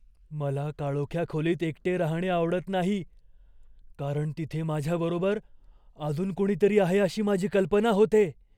मला काळोख्या खोलीत एकटे राहणे आवडत नाही, कारण तिथे माझ्याबरोबर अजून कुणीतरी आहे अशी माझी कल्पना होते.